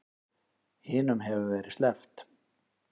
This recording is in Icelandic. Hinum hefur verið sleppt